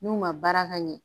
N'u ma baara ka ɲɛ